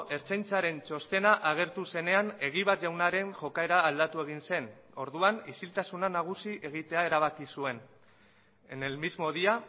ertzaintzaren txostena agertu zenean egibar jaunaren jokaera aldatu egin zen orduan isiltasuna nagusi egitea erabaki zuen en el mismo día